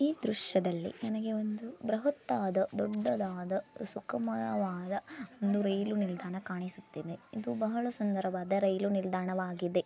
ಈ ದ್ರಶ್ಯದಲ್ಲಿ ನನಗೆ ಒಂದು ಬ್ರಹತ್ ಆದ ದೊಡ್ಡದಾದ ಸುಖಮಯವಾದ ಒಂದು ರೈಲು ನಿಲ್ದಾಣ ಕಾಣಿಸುತ್ತಿದೆ ಇದು ಬಹಳ ಸುಂದರವಾದ ರೈಲು ನಿಲ್ದಾಣವಾಗಿದೆ .